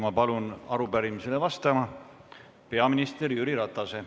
Ma palun arupärimisele vastama peaminister Jüri Ratase.